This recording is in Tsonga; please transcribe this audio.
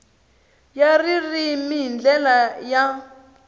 ya ririmi hi ndlela ya